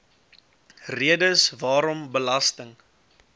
redes waarom belasting